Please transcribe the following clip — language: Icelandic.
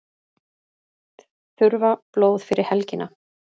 Þurfa blóð fyrir helgina